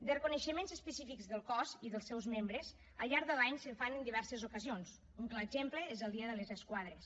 de reconeixements específics del cos i dels seus membres al llarg de l’any se’n fan en diverses ocasions un clar exemple és el dia de les esquadres